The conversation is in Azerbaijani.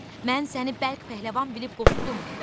Mən səni bəlk pəhləvan bilib qorxdum.